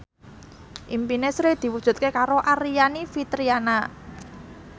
impine Sri diwujudke karo Aryani Fitriana